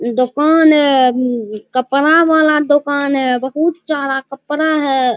दोकान है मम कपड़ा वाला दोकान है बहुत चारा है।